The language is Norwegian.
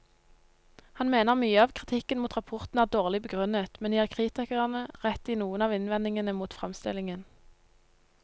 Han mener mye av kritikken mot rapporten er dårlig begrunnet, men gir kritikerne rett i noen av innvendingene mot fremstillingen.